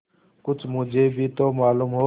कुछ मुझे भी तो मालूम हो